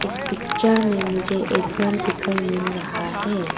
इस पिक्चर में मुझे एक घर दिखाई मिल रहा है।